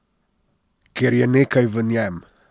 Ker je nekaj v njem.